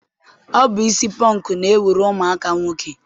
Ọ bụ isi pọnk na-ewuru ụmụaka nwoke.